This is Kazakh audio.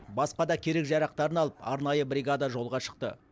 басқа да керек жарақтарын алып арнайы бригада жолға шықты